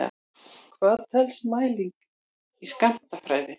Hvað telst mæling í skammtafræði?